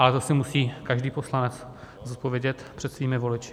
Ale to si musí každý poslanec zodpovědět před svými voliči.